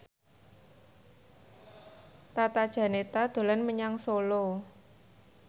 Tata Janeta dolan menyang Solo